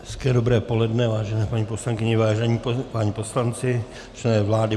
Hezké dobré poledne, vážené paní poslankyně, vážení páni poslanci, člene vlády.